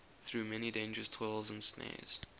through many dangers toils and snares